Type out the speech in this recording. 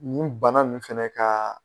Nin banna nin fana ka